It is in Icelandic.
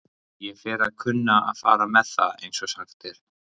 Ég fer að kunna að fara með það, einsog sagt er.